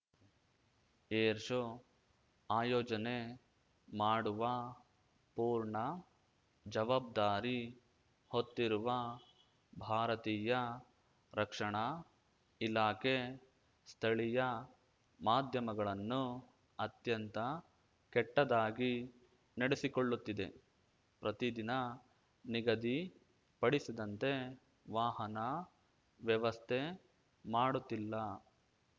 air show ಆಯೋಜನೆ ಮಾಡುವ ಪೂರ್ಣ ಜವಾಬ್ದಾರಿ ಹೊತ್ತಿರುವ ಭಾರತೀಯ ರಕ್ಷಣಾ ಇಲಾಖೆ ಸ್ಥಳೀಯ ಮಾಧ್ಯಮಗಳನ್ನು ಅತ್ಯಂತ ಕೆಟ್ಟದಾಗಿ ನಡೆಸಿಕೊಳ್ಳುತ್ತಿದೆ ಪ್ರತಿದಿನ ನಿಗದಿ ಪಡಿಸಿದಂತೆ ವಾಹನ ವ್ಯವಸ್ಥೆ ಮಾಡುತ್ತಿಲ್ಲ